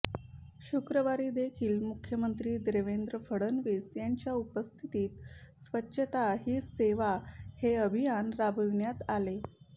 शुक्रवारी देखील मुख्यमंत्री देवेंद्र फडणवीस यांच्या उपस्थित स्वच्छता हीच सेवा हे अभियान राबविण्यात आले